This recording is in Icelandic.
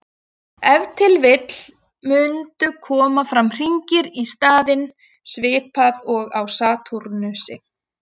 Ef til vill mundu koma fram hringir í staðinn, svipað og á Satúrnusi.